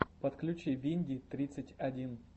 подключи винди тридцать один